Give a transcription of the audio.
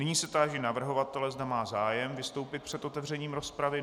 Nyní se táži navrhovatele, zda má zájem vystoupit před otevřením rozpravy.